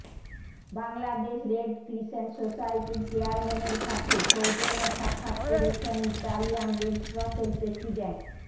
Bangladesh red crescent সোসাইটির চেয়ারম্যানের সাথে সৌজন্যে সাক্ষাত করেছেন ইতালিয়ান রেড ক্রসের প্রেসিডেন্ট